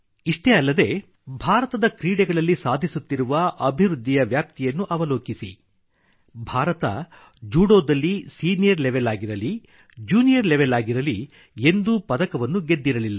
ಇಷ್ಟೇ ಅಲ್ಲದೆ ಭಾರತದ ಕ್ರೀಡೆಗಳಲ್ಲಿ ಸಾಧಿಸುತ್ತಿರುವ ಅಭಿವೃದ್ಧಿಯ ವ್ಯಾಪ್ತಿಯನ್ನು ಅವಲೋಕಿಸಿ ಭಾರತ ಜೂಡೋದಲ್ಲಿ ಸಿನಿಯರ್ ಲೆವೆಲ್ ಆಗಿರಲಿ ಜ್ಯೂನಿಯರ್ ಲೆವೆಲ್ ಆಗಿರಲಿ ಎಂದೂ ಪದಕವನ್ನು ಗೆದ್ದಿರಲಿಲ್ಲ್ಲ